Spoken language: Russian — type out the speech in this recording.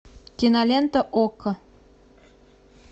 кинолента окко